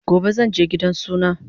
Gobe zanje gidan suna